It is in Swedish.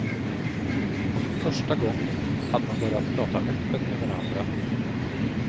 Och för första gången hade de börjat prata öppet med varandra.